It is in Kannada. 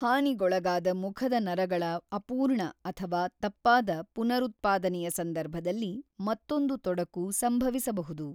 ಹಾನಿಗೊಳಗಾದ ಮುಖದ ನರಗಳ ಅಪೂರ್ಣ ಅಥವಾ ತಪ್ಪಾದ ಪುನರುತ್ಪಾದನೆಯ ಸಂದರ್ಭದಲ್ಲಿ ಮತ್ತೊಂದು ತೊಡಕು ಸಂಭವಿಸಬಹುದು.